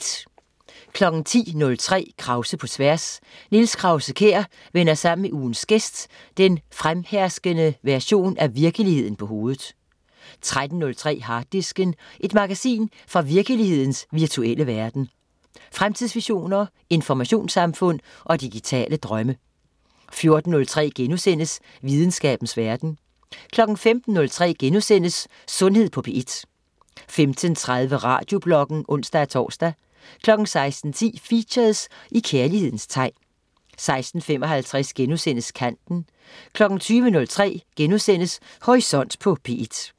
10.03 Krause på tværs. Niels Krause-Kjær vender sammen med ugens gæst den fremherskende version af virkeligheden på hovedet 13.03 Harddisken. Et magasin fra virkelighedens virtuelle verden. Fremtidsvisioner, informationssamfund og digitale drømme 14.03 Videnskabens verden* 15.03 Sundhed på P1* 15.30 Radiobloggen (ons-tors) 16.10 Features: I kærlighedens tegn 16.55 Kanten* 20.03 Horisont på P1*